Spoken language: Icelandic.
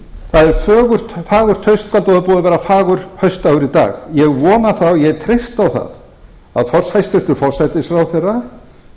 það er fagurt haustkvöld og búið að vera fagur haustdagur í dag ég vona það og ég treysti á það að hæstvirtur forsætisráðherra